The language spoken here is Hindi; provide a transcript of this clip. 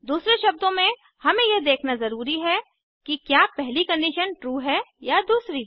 दूसरे शब्दों में हमें यह देखना ज़रूरी है कि क्या पहली कंडीशन ट्रू है या दूसरी